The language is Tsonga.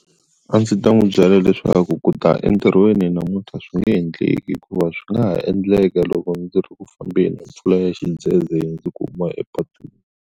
A ndzi ta n'wi byela leswaku ku ta entirhweni namuntlha swi nge endleki hikuva swi nga ha endleka loko ndzi ri ku fambeni mpfula ya xidzedze yi ndzi kuma epatwini.